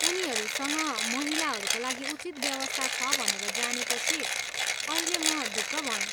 उनीहरूसँग महिलाहरूका लागि उचित व्यवस्था छ भनेर जानेपछि अहिले म ढुक्क भएँ।